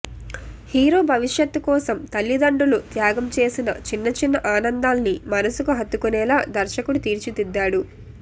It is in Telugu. హీరో భవిష్యత్తు కోసం తల్లిదండ్రులు త్యాగం చేసిన చిన్న చిన్న ఆనందాల్ని మనసుకు హత్తకునేలా దర్శకుడు తీర్చిదిద్దాడు